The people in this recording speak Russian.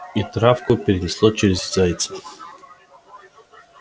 и травку перенесло через зайца